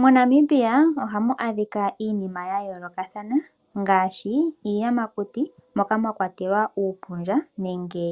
MoNamibia ohamu adhika iinima ya yoolokathana ngaashi iiyamakuti moka mwa kwatelwa uupundja nenge